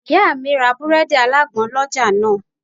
Ìyá mi ra àwọn búrẹ́ẹ́dì alágbọn lọ́jà náà